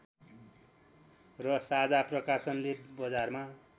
र साझा प्रकाशनले बजारमा